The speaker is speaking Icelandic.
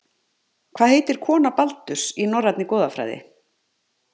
Hvað heitir kona Baldurs, í Norrænni goðafræði?